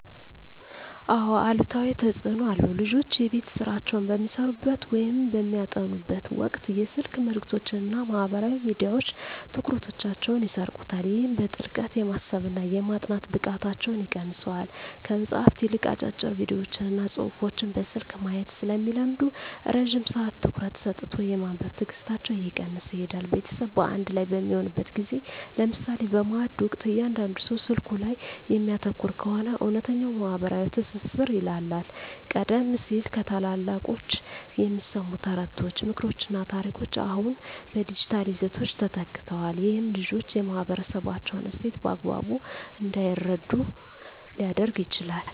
አዎ አሉታዊ ተፅኖ አለው። ልጆች የቤት ሥራቸውን በሚሠሩበት ወይም በሚያጠኑበት ወቅት የስልክ መልእክቶችና ማኅበራዊ ሚዲያዎች ትኩረታቸውን ይሰርቁታል። ይህም በጥልቀት የማሰብና የማጥናት ብቃታቸውን ይቀንሰዋል። ከመጽሐፍት ይልቅ አጫጭር ቪዲዮዎችንና ጽሑፎችን በስልክ ማየት ስለሚለምዱ፣ ረጅም ሰዓት ትኩረት ሰጥቶ የማንበብ ትዕግሥታቸው እየቀነሰ ይሄዳል። ቤተሰብ በአንድ ላይ በሚሆንበት ጊዜ (ለምሳሌ በማዕድ ወቅት) እያንዳንዱ ሰው ስልኩ ላይ የሚያተኩር ከሆነ፣ እውነተኛው ማኅበራዊ ትስስር ይላላል። ቀደም ሲል ከታላላቆች የሚሰሙ ተረቶች፣ ምክሮችና ታሪኮች አሁን በዲጂታል ይዘቶች ተተክተዋል። ይህም ልጆች የማኅበረሰባቸውን እሴት በአግባቡ እንዳይረዱ ሊያደርግ ይችላል።